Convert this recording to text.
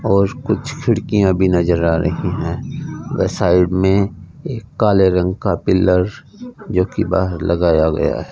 और कुछ खिड़कियां भी नज़र आ रही हैं व साइड में एक काले रंग का पिलर जो कि बाहर लगाया गया है।